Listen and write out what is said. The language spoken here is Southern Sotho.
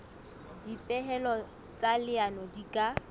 dipehelo tsa leano di ka